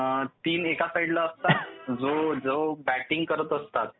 तीन एका साईडला असतात. जो बॅटिंग करत असतात